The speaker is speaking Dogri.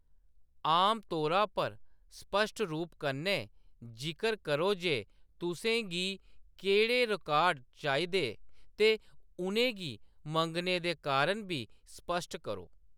आमतौरा पर, स्पश्ट रूप कन्नै जिकर करो जे तुसें गी केह्‌‌ड़े रिकार्ड चाहिदे ते उʼनें गी मंगने दे कारण बी स्पश्ट करो।